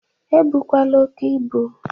E bụkwala oke ibụ!